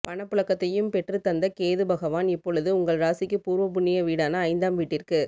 பணப்புழக்கத்தையும் பெற்றுத் தந்த கேது பகவான் இப்பொழுது உங்கள் ராசிக்கு பூர்வ புண்ணிய வீடான ஐந்தாம் வீட்டிற்கு